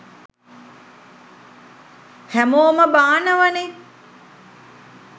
හැමෝම බානවනෙ